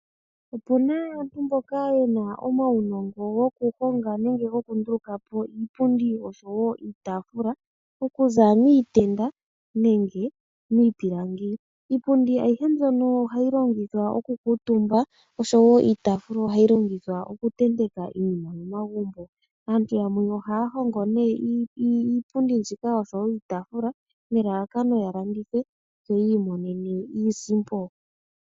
Opuna aantu mboka yena omaunongo goku honga nenge goku nduluka po iipundi osho wo iitaafula okuza miitenda nenge miipilangi. Iipundi ayihe mbyono ohayi longithwa oku kuutumba osho wo iitaafula ohayi longithwa oku tenteka iinima mo magumbo. Aantu yamwe ohaya hongo nee iipundi mbika osho wo iitaafula nelalakano ya landithe yo yi imonene iisimpo.